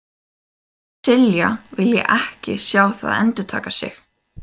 Silla vilji ekki sjá það endurtaka sig.